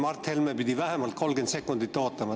Mart Helme pidi vähemalt 30 sekundit ootama.